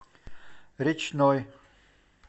речной